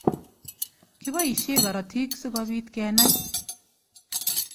Kiboishe korotik sikobit kenai.